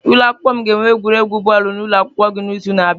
Ụlọ akwụkwọ anyị ga-enwe egwuregwu bọọlụ na ụlọ akwụkwọ gị n'izu na-abịa.